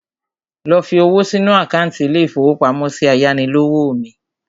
Lọ fi owó sínu àkántì ilé-ìfowópamọ́sí ayánilówó mi